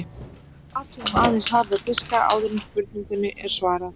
Athugum aðeins harða diska áður en spurningunni er svarað.